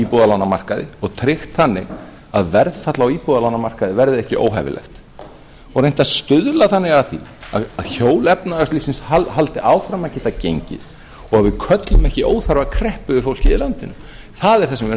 íbúðalánamarkaði og tryggt þannig að verðfall á íbúðalánamarkaði verði ekki óhæfilegt og reynt að stuðla þannig að því að hjól efnahagslífsins haldi áfram að geta gengið og við köllum ekki óþarfa kreppu yfir fólkið í landinu það er það sem við erum